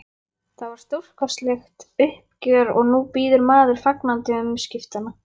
Það var stórkostlegt uppgjör og nú bíður maður fagnandi umskiptanna.